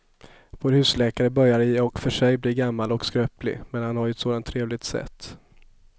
Vår husläkare börjar i och för sig bli gammal och skröplig, men han har ju ett sådant trevligt sätt!